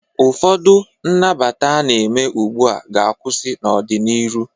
Ọfọdụ nnabata a na-eme ugbu a ga-akwụsị n'ọ dị n'iru.